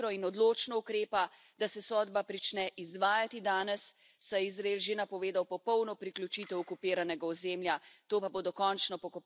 Zato naj Komisija hitro in odločno ukrepa, da se sodba prične izvajati danes, saj je Izrael že napovedal popolno priključitev okupiranega ozemlja.